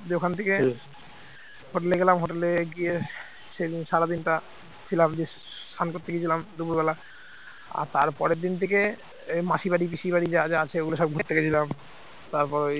সেদিন সারাদিনটা ছিলাম বেশ স্নান করতে গিয়েছিলাম দুপুরবেলা আর তারপরের দিন থেকে ওই মাসি বাড়ি পিসি বাড়ি যা যা আছে এগুলো সব ঘুরতে গিয়েছিলাম তারপরে ওই